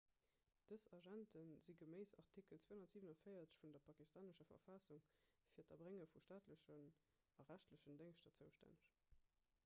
dës agente si geméiss artikel 247 vun der pakistanescher verfassung fir d'erbrénge vu staatlechen a rechtlechen déngschter zoustänneg